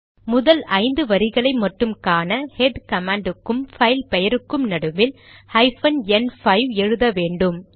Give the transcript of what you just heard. முதல் ஐந்து வரிகளை மட்டும் காண ஹெட் கமாண்ட் க்கும் பைல் பெயருக்கும் நடுவில் ஹைபன் என் 5 எழுத வேண்டும்